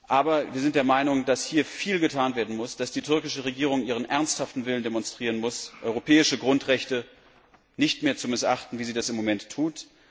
Aber wir sind der Meinung, dass hier viel getan werden muss, dass die türkische Regierung ihren ernsthaften Willen demonstrieren muss, europäische Grundrechte nicht mehr zu missachten, wie sie das im Moment tut.